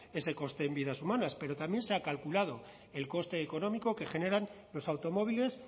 ese coste en vidas humanas pero también se ha calculado el coste económico que generan los automóviles